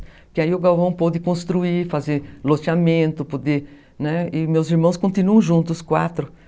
Porque aí o Galvão pôde construir, fazer loteamento, poder, e meus irmãos continuam juntos, os quatro irmãos.